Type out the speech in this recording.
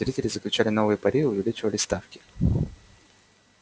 зрители заключали новые пари увеличивали ставки